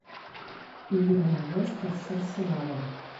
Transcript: игра лестер с арсеналом